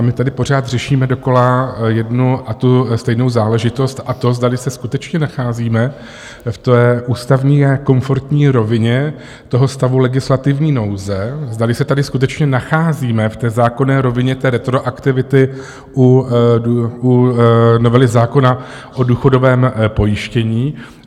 A my tady pořád řešíme dokola jednu a tu stejnou záležitost, a to, zdali se skutečně nacházíme v té ústavně konformní rovině toho stavu legislativní nouze, zdali se tady skutečně nacházíme v té zákonné rovině té retroaktivity u novely zákona o důchodovém pojištění.